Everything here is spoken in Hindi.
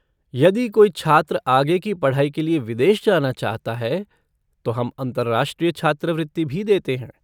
यदि कोई छात्र आगे की पढ़ाई के लिए विदेश जाना चाहता है तो हम अंतरराष्ट्रीय छात्रवृत्ति भी देते हैं।